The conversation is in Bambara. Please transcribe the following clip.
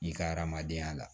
I ka adamadenya la